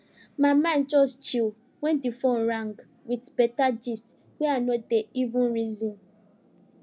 my mind just chill when di phone rang with beta gist wey i no dey even reason